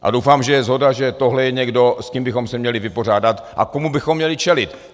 A doufám, že je shoda, že tohle je někdo, s kým bychom se měli vypořádat a komu bychom měli čelit.